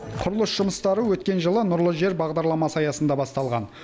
құрылыс жұмыстары өткен жылы нұрлы жер бағдарламасы аясында басталған